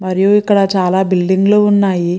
మరియు ఇక్కడ చాల బిల్డింగ్ లు వున్నాయి.